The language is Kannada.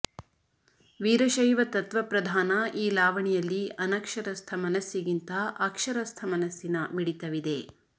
ವೀರಶೈವ ತತ್ವಪ್ರಧಾನ ಈ ಲಾವಣಿಯಲ್ಲಿ ಅನಕ್ಷರಸ್ಥ ಮನಸ್ಸಿಗಿಂತ ಅಕ್ಷರಸ್ಥ ಮನಸ್ಸಿನ ಮಿಡಿತವಿದೆ